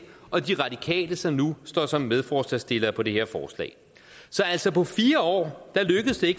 og de radikale som nu står som medforslagsstillere på det her forslag så altså på fire år lykkedes det